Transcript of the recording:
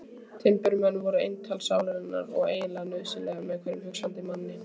Timburmenn voru eintal sálarinnar og eiginlega nauðsynlegir hverjum hugsandi manni.